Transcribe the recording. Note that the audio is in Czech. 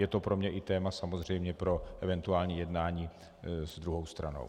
Je to pro mě i téma samozřejmě pro eventuální jednání s druhou stranou.